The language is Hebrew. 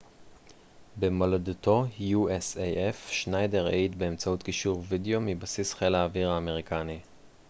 שניידר העיד באמצעות קישור וידאו מבסיס חיל האוויר האמריקני usaf במולדתו